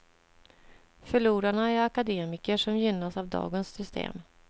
Förlorarna är akademiker, som gynnas av dagens system.